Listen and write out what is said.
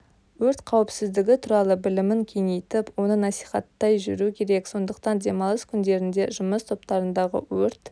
өрт қауіпсіздігі туралы білімін кеңейтіп оны насихаттай жүру керек сондықтан демалыс күндерінде жұмыс топтарындағы өрт